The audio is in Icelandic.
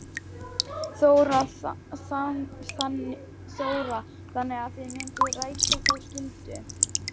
Þóra: Þannig að þið mynduð rækja þá skyldu?